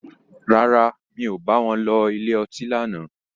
Rárá, mi ò bá wọn lọ ilé ọtí lánàá.